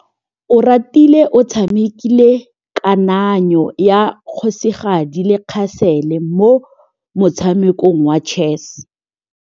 Oratile o tshamekile kananyô ya kgosigadi le khasêlê mo motshamekong wa chess.